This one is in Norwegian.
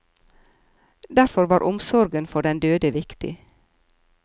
Derfor var omsorgen for den døde viktig.